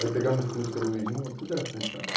Aí pegamos o fusca do vizinho, tudo era fusca naquela